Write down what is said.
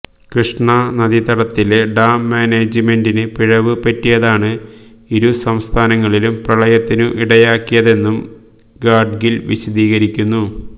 കൃഷ്ണ നദീതടത്തിലെ ഡാം മാനേജ്മെന്റിന് പിഴവ് പറ്റിയതാണ് ഇരു സംസ്ഥാനങ്ങളിലും പ്രളയത്തിനു ഇടയാക്കിയതെന്നും ഗാഡ്ഗിൽ വിശദീകരിക്കുന്നു